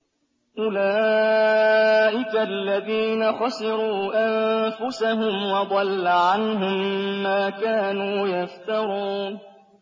أُولَٰئِكَ الَّذِينَ خَسِرُوا أَنفُسَهُمْ وَضَلَّ عَنْهُم مَّا كَانُوا يَفْتَرُونَ